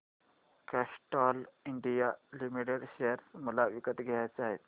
Castrol India limited share मला विकत घ्यायचे आहेत